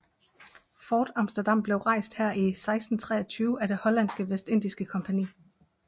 Fort Amsterdam blev rejst her i 1623 af Det hollandske vestindiske Kompagni